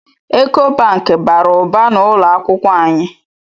Eko Banki bara ụba n’ụlọakwụkwọ anyị